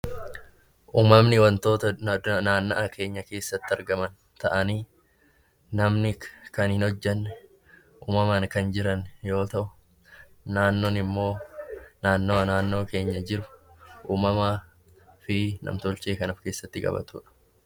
Uumamni wantoota adda addaa naanna'aa keenya keessatti argaman ta'anii, namni kan hin hojjenne uumamaan kan jiran yoo ta'u, naannoon immoo naannawaa naannoo keenya jiru, uumamaa fi nam-tolchee kan of keessatti qabatudha.